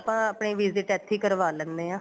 ਆਪਣੀ visit ਇੱਥੇ ਹੀ ਕਰਵਾ ਲੈਂਨੇ ਆ